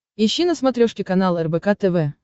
ищи на смотрешке канал рбк тв